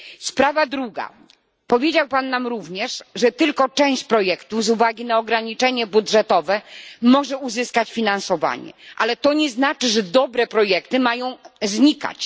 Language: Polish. Sprawa druga. Powiedział Pan nam również, że tylko część projektów z uwagi na ograniczenie budżetowe może uzyskać finansowanie, ale to nie znaczy, że dobre projekty mają znikać.